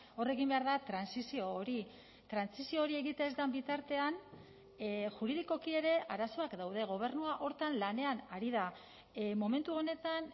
hor egin behar da trantsizio hori trantsizio hori egiten ez den bitartean juridikoki ere arazoak daude gobernua horretan lanean ari da momentu honetan